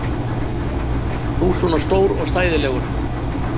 Þú svona stór og stæðilegur!